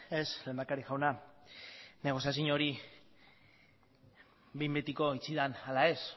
ez lehendakari jauna negoziazino hori behin betiko itxi den ala ez